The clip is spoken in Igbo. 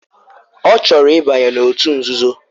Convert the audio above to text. Ọ chọrọ ịbanye n'òtù nzuzo?